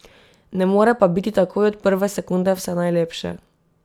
Ne more pa biti takoj od prve sekunde vse najlepše.